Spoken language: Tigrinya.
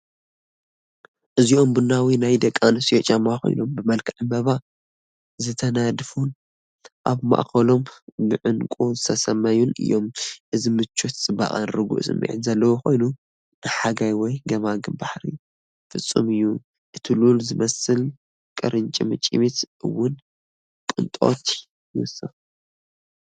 እዚኦም ቡናዊ ናይ ደቂ ኣንስትዮ ጫማ ኮይኖም፡ ብመልክዕ ዕምባባ ዝተነድፉን ኣብ ማእከሎም ብዕንቊ ዝተሰለሙን እዮም። እዚ ምቾት፡ ጽባቐን ርጉእ ስምዒትን ዘርኢ ኮይኑ፡ ንሓጋይ ወይ ገማግም ባሕሪ ፍጹም እዩ። እቲ ሉል ዝመስል ቁርጭምጭሚት እውን ቅንጦት ይውስኽ።